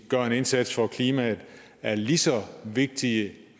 gøre en indsats for klimaet er lige så vigtige